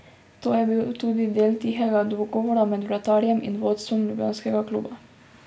To je bil tudi del tihega dogovora med vratarjem in vodstvom ljubljanskega kluba.